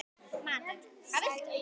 Matur: Hvað viltu?